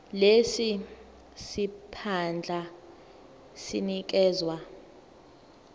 lesi siphandla sinikezwa